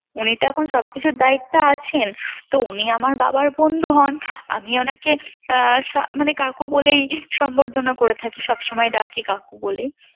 উনি তো এখন সবকিছুর দায়িত্বে আছেন তো উনি আমারা বাবার বন্ধু হন আমি উনাকে মানে কাকু বলেই সম্বর্ধনা করে থাকি সবসময় ডাকি কাকু বলেই